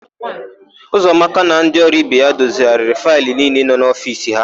Ụzọamaka na ndị ọrụ ibe ya dozigharịrị faịlụ niile nọ n'ofiisi ha.